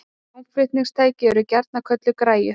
Hljómflutningstæki eru gjarnan kölluð græjur.